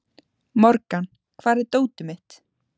Morgan, hvar er dótið mitt?